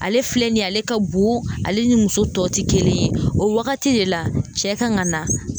Ale filɛ nin ye ale ka bon, ale ni muso tɔ tɛ kelen ye, o wagati de la cɛ kan ka na